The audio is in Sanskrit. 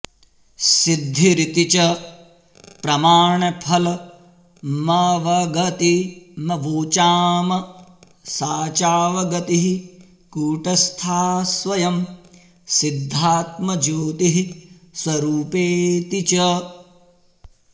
सिद्धिरिति च प्रमाणफलमवगतिमवोचाम सा चावगतिः कूटस्था स्वयंसिद्धात्मज्योतिःस्वरूपेति च